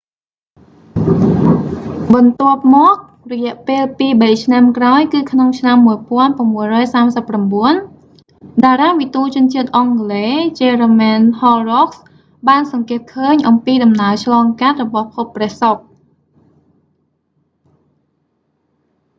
បន្ទាប់មក រយះពេលពីរបីឆ្នាំក្រោយគឺក្នុងឆ្នាំ1639 តារាវិទូជនជាតិអង់គ្លេស jeremiah horrocks បានសង្កេតឃើញអំពីដំណើរឆ្លងកាត់របស់ភពព្រះសុក្រ